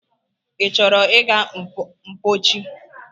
I chọrọ ịga mpochi?